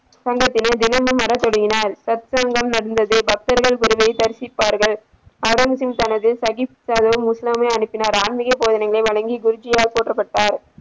தினமும் வர தொடங்கினார் பக்தர்கள் குருவை தரிசித்தார்கள் ஆடம்ஸ் இன் தனது சகிப் தாகி இஸ்லாமிய அனுப்பினார் ஆன்மீகப் போதனைகளை வழங்கி குருஜி போற்றப்பட்டார்.